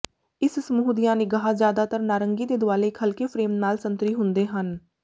ਇਸ ਸਮੂਹ ਦੀਆਂ ਨਿਗਾਹ ਜਿਆਦਾਤਰ ਨਾਰੰਗੀ ਦੇ ਦੁਆਲੇ ਇੱਕ ਹਲਕੇ ਫਰੇਮ ਨਾਲ ਸੰਤਰੀ ਹੁੰਦੇ ਹਨ